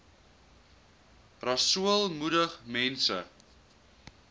rasool moedig mense